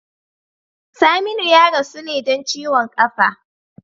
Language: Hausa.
Saminu ya rasu ne don ciwon kafa.